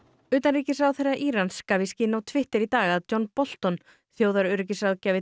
utanríkisráðherra Írans gaf í skyn á Twitter í dag að John Bolton